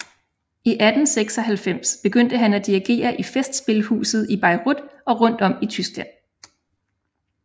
I 1896 begyndte han at dirigere i festspilhuset i Bayreuth og rundt om i Tyskland